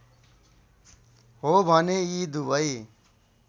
हो भने यी दुबै